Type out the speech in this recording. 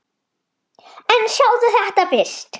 En sjáðu þetta fyrst!